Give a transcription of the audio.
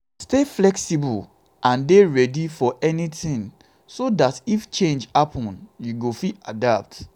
stay flexible and dey ready for anything so dat if changes happen you go fit adapt